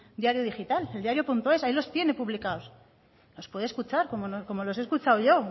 diario digital eldiarioes hay los puede escuchar como los he escuchado yo